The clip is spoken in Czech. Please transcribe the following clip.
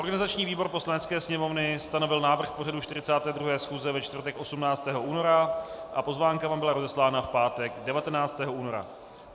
Organizační výbor Poslanecké sněmovny stanovil návrh pořadu 42. schůze ve čtvrtek 18. února a pozvánka vám byla rozeslána v pátek 19. února.